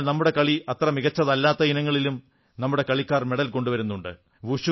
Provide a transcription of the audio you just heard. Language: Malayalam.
എന്നാൽ നമ്മുടെ കളി അത്ര മികച്ചതല്ലാത്ത ഇനങ്ങളിലും നമ്മുടെ കളിക്കാർ മെഡൽ കൊണ്ടുവരുന്നുണ്ട്